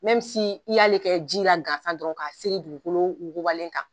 i y'ale kɛ jila gansa dɔrɔn ka seri dugukolo wugubalen kan